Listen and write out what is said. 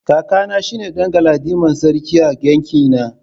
Kakana shine dan galadiman sarki a yankina.